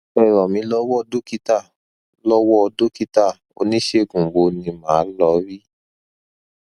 ẹ ràn mí lọwọ dókítà lọwọ dókítà oníṣègùn wo ni màá lọ rí